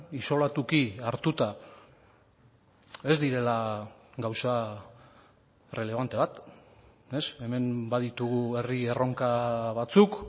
isolatuki hartuta ez direla gauza errelebante bat hemen baditugu herri erronka batzuk